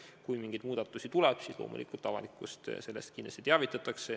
Kui mingeid muudatusi tuleb, siis loomulikult avalikkust sellest kindlasti teavitatakse.